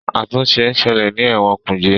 àtúnṣe nṣele ní Ewon kuje.